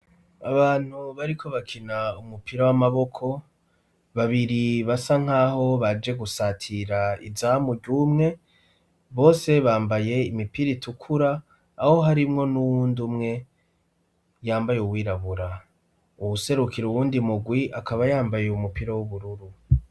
Abantu bariko bakina umupira w'amaboko babiri basa nkaho baje gusatira izamu ryumwe bose bambaye imipira itukura aho harimwo n'uwundi umwe yambaye uwirabura uwuserukiro uwundi mugwi akaba yambaye umupira w'ubururu.